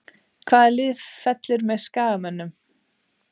Hvaða lið fellur með Skagamönnum?